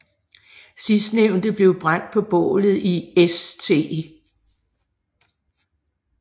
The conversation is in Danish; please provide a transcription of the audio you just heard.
Sidstnævnte blev brændt på bålet i St